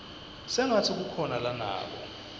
sengatsi kukhona lanako